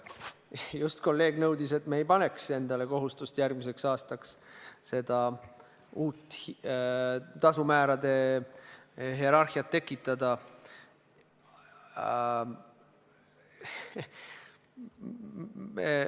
Just teie kolleeg nõudis, et me ei paneks endale järgmiseks aastaks kohustust uut tasumäärade hierarhiat tekitada.